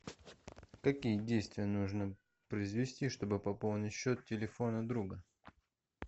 какие действия нужно произвести чтобы пополнить счет телефона друга